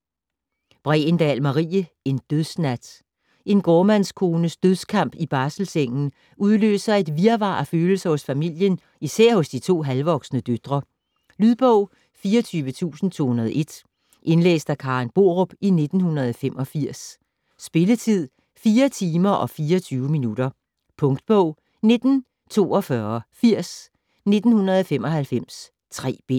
Bregendahl, Marie: En dødsnat En gårdmandskones dødskamp i barselssengen udløser et virvar af følelser hos familien, især hos de to halvvoksne døtre. Lydbog 24201 Indlæst af Karen Borup, 1985. Spilletid: 4 timer, 24 minutter. Punktbog 194280 1995. 3 bind.